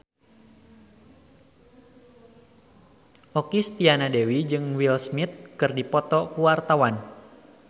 Okky Setiana Dewi jeung Will Smith keur dipoto ku wartawan